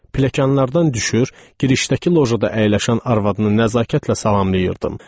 Pilləkanlardan düşür, girişdəki lojada əyləşən arvadını nəzakətlə salamlayırdım.